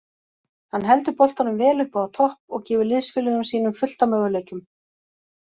Hann heldur boltanum vel uppi á topp og gefur liðsfélögum sínum fullt af möguleikum.